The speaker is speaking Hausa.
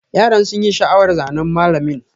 Yaran sun yi sha'awar zanen mallamin.